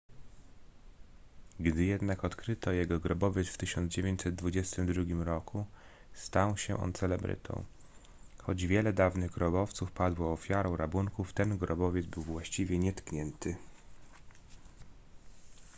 gdy jednak odkryto jego grobowiec w 1922 roku stał się on celebrytą choć wiele dawnych grobowców padło ofiarą rabunków ten grobowiec był właściwie nietknięty